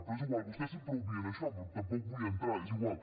però és igual vostès sempre obvien això però tampoc hi vull entrar és igual